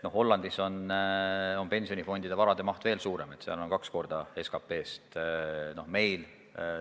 Hollandis on pensionifondide varade maht veel suurem, seal on see SKP-st kaks korda suurem.